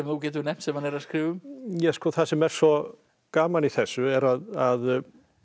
getur nefnt sem hann er að skrifa um það sem er svo gaman í þessu er að